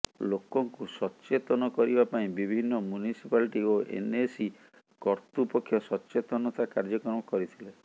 ଲୋକଙ୍କୁ ସଚେତନ କରିବା ପାଇଁ ବିଭିନ୍ନ ମ୍ୟୁନିସିପାଲଟି ଓ ଏନଏସି କର୍ତ୍ତୃପକ୍ଷ ସଚେତନତା କାର୍ଯ୍ୟକ୍ରମ କରିଥିଲେ